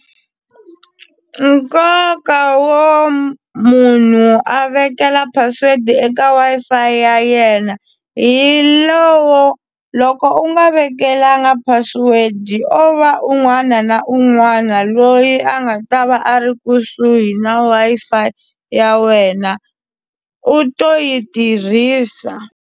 Nkoka wo munhu a vekela password eka Wi-Fi ya yena hi lowo loko u nga vekelanga password o va un'wana na un'wana loyi a nga ta va a ri kusuhi na Wi-Fi ya wena u to yi tirhisa.